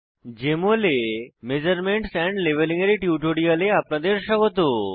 JML এ measurements and labelling এর টিউটোরিয়াললে আপনাদের স্বাগত